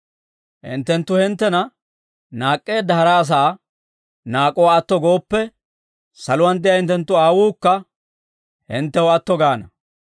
«Hinttenttu hinttena naak'k'eedda hara asaa naak'uwaa atto gooppe, saluwaan de'iyaa hinttenttu Aawuukka hinttew atto gaana.